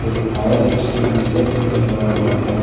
Fire extinguisher भी लगा हुआ है।